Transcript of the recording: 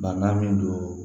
Bana min don